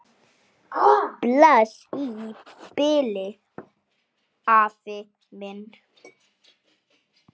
Bless í bili, afi minn.